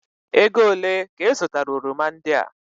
Ego olee ka ị zụtara oroma ndị a?